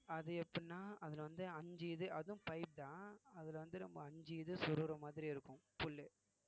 அது எப்படின்னா அதுல வந்து அஞ்சு இது அதுவும் pipe தான் அதுல வந்து நம்ம அஞ்சு இது சொருகிற மாதிரி இருக்கும் புல்லு